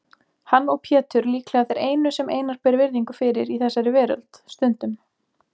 Hann og Pétur líklega þeir einu sem Einar ber virðingu fyrir í þessari veröld, stundum